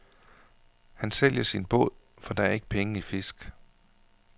Han sælger sin båd, for der er ikke penge i fisk.